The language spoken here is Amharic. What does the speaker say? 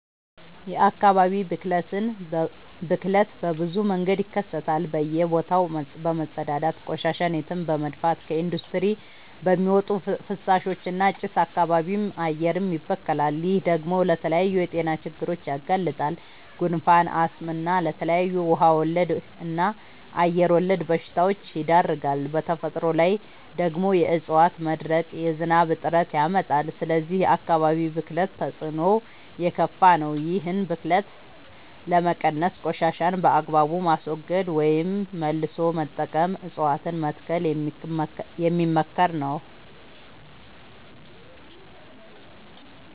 የአካባቢ ብክለት በብዙ መንገድ ይከሰታል በእየ ቦታው በመፀዳዳት፤ ቆሻሻን የትም በመድፍት፤ ከኢንዲስትሪ በሚወጡ ፍሳሾች እና ጭስ አካባቢም አየርም ይበከላል። ይህ ደግሞ ለተለያዩ የጤና ችግሮች ያጋልጣል። ጉንፋን፣ አስም እና ለተለያዩ ውሃ ወለድ እና አየር ወለድ በሽታወች ይዳርጋል። በተፈጥሮ ላይ ደግሞ የዕፀዋት መድረቅ የዝናብ እጥረት ያመጣል። ስለዚህ የአካባቢ ብክለት ተፅዕኖው የከፋ ነው። ይህን ብክለት ለመቀነስ ቆሻሻን በአግባቡ ማስወገድ ወይም መልሶ መጠቀም እፀዋትን መትከል የሚመከር ነው።